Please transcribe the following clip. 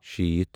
شیٖتھ